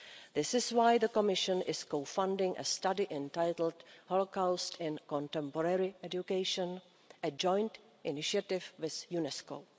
This is why the Commission is co funding a study entitled the Holocaust in Contemporary Education, a joint initiative with UNESCO.